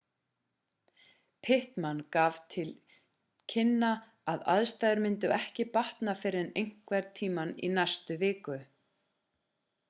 pittman gaf til kynna að aðstæður myndu ekki batna fyrr en einhvern tímann í næstu viku